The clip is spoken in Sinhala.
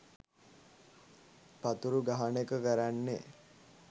පතුරු ගහන එක කරන්නෙ.